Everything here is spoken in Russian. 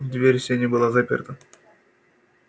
дверь в сени была заперта